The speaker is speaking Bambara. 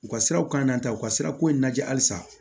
U ka siraw kanna ta u ka sira ko in lajɛ halisa